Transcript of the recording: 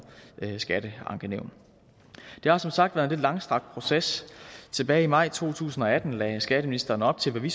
skatteankenævn det har som sagt været en lidt langstrakt proces tilbage i maj to tusind og atten lagde skatteministeren op til hvad vi